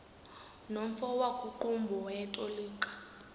nomfo wakuqumbu owayetolika